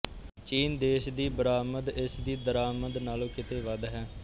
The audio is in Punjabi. ਚੀਨ ਦੇਸ਼ ਦੀ ਬਰਾਮਦ ਇਸ ਦੀ ਦਰਾਮਦ ਨਾਲੋਂ ਕਿਤੇ ਵੱਧ ਹੈ